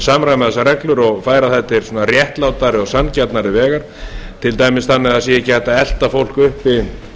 samræma þessar reglur og færa þær til réttlátari og sanngjarnari vegar til dæmis þannig að það sé ekki hægt að elta fólk uppi